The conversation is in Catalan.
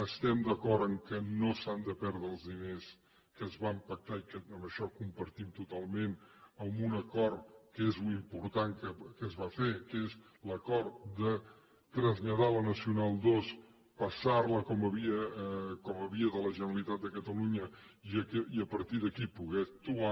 estem d’acord que no s’han de perdre els diners que es van pactar i això ho compartim totalment amb un acord que és l’important que es va fer que és l’acord de traslladar la nacional ii passar la com a via de la generalitat de catalunya i a partir d’aquí poder actuar